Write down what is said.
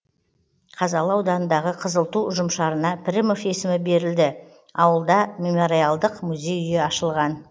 қазалы ауданындағы қызыл ту ұжымшарына пірімов есімі берілді ауылда мемориалдық музей үйі ашылған